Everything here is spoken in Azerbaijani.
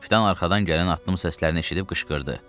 Kapitan arxadan gələn addım səslərini eşidib qışqırdı.